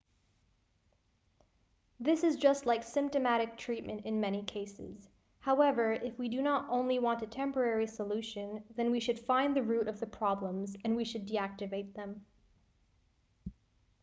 this is just like symptomatic treatment in many cases however if we do not only want a temporary solution then we should find the root of the problems and we should deactivate them